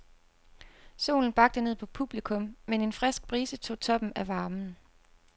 Solen bagte ned på publikum, men en frisk brise tog toppen af varmen.